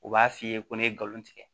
U b'a f'i ye ko ne ye nkalon tigɛ